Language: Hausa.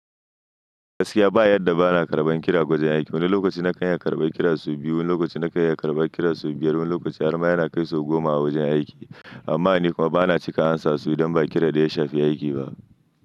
Gaskiya ba yarda bana karban kira wajen aiki. Wani lokaci na kanyi karban kira sau biyu, wani lokaci na kanyi karban kira sau biyar, wani lokaci har ma yana kai sau goma a wajen aiki. Amma ni kuma bana cika amsa su idan ba kira da ya shafi aiki ba.